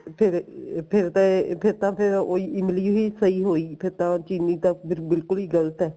ਫੇਰ ਫੇਰ ਤਾਂ ਇਹ ਫੇਰ ਤਾਂ ਫੇਰ ਉਹੀ ਇਮਲੀ ਹੀ ਸਹੀ ਹੋਈਗੀ ਚਿਰੀ ਤਾਂ ਫੇਰ ਬਿਲਕੁਲ ਈ ਗਲਤ ਏ